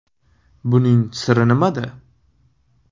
Buning siri nimada?